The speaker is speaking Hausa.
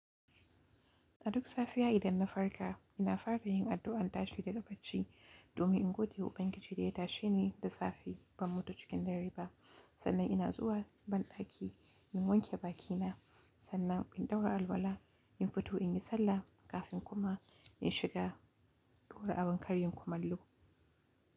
A duk safiya idan na farka, ina fara yin addu'an tashi daga bacci, domin in gode wa ubangiji da ya tashe ni da safe, ban mutu cikin dare ba, sannan ina zuwa banɗaki in wanke bakina, sannan in ɗaura alwala, in fito in yi sallah kafin kuma in shiga ɗaura abin karyin kumallo.